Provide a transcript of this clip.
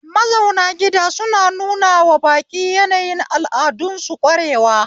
Mazaunan gida suna nunawa baƙi yanayin al'adun su ƙwarewa